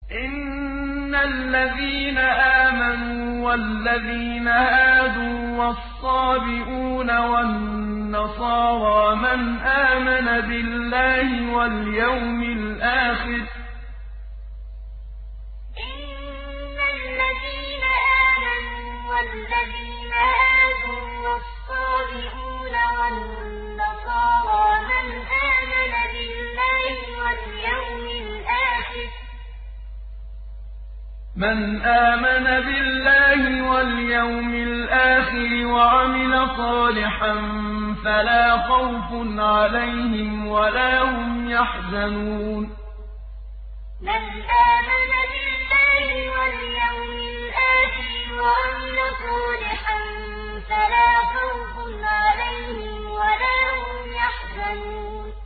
إِنَّ الَّذِينَ آمَنُوا وَالَّذِينَ هَادُوا وَالصَّابِئُونَ وَالنَّصَارَىٰ مَنْ آمَنَ بِاللَّهِ وَالْيَوْمِ الْآخِرِ وَعَمِلَ صَالِحًا فَلَا خَوْفٌ عَلَيْهِمْ وَلَا هُمْ يَحْزَنُونَ إِنَّ الَّذِينَ آمَنُوا وَالَّذِينَ هَادُوا وَالصَّابِئُونَ وَالنَّصَارَىٰ مَنْ آمَنَ بِاللَّهِ وَالْيَوْمِ الْآخِرِ وَعَمِلَ صَالِحًا فَلَا خَوْفٌ عَلَيْهِمْ وَلَا هُمْ يَحْزَنُونَ